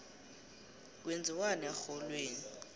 kwenziwani erholweni